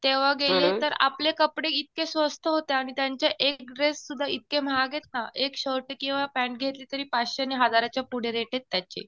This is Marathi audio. तेव्हा गेले तर आपले कपडे इतके स्वस्त होते. आणि त्यांचे एक ड्रेस सुद्धा इतके महाग आहेत ना. एक शर्ट किंवा पॅण्ट घेतली तरी पाचशे आणि हजाराच्या पुढे रेट आहेत त्याचे.